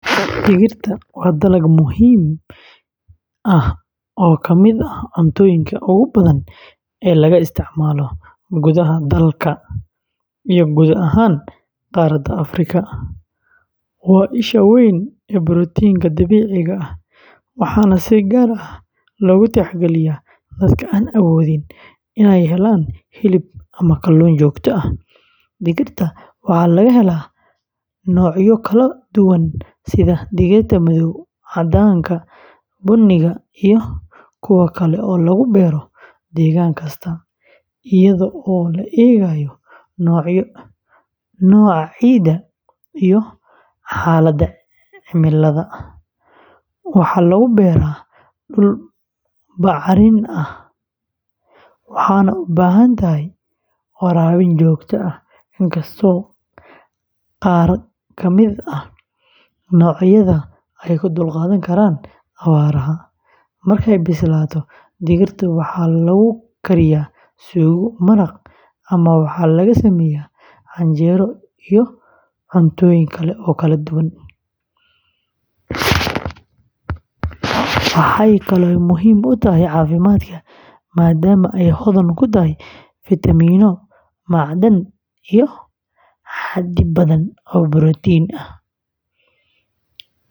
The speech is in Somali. Digirta waa dalag muhiim ah oo ka mid ah cuntooyinka ugu badan ee laga isticmaalo gudaha dhalka iyo guud ahaan qaaradda Afrika. Waa isha weyn ee borotiinka dabiiciga ah, waxaana si gaar ah loogu tixgeliyaa dadka aan awoodin inay helaan hilib ama kalluun joogto ah. Digirta waxaa laga helaa noocyo kala duwan sida digirta madow, caddaanka, buniga, iyo kuwa kale oo lagu beero deegaan kasta iyadoo la eegayo nooca ciidda iyo xaaladda cimilada. Waxaa lagu beeraa dhul bacrin ah waxaana u baahan tahay waraabin joogto ah, inkastoo qaar ka mid ah noocyadeeda ay u dulqaadan karaan abaaraha. Markay bislaato, digirta waxaa lagu kariyaa suugo, maraq, ama waxaa laga sameeyaa canjeelo iyo cuntooyin kale oo kala duwan. Waxay kaloo muhiim u tahay caafimaadka, maadaama ay hodan ku tahay fiitamiinno, macdan, iyo xaddi badan oo borotiin ah.